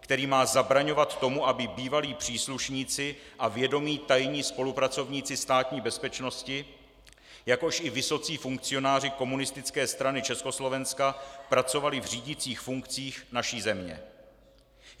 který má zabraňovat tomu, aby bývalí příslušníci a vědomí tajní spolupracovníci Státní bezpečnosti, jakož i vysocí funkcionáři Komunistické strany Československa, pracovali v řídících funkcích naší země.